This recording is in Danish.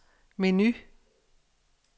menu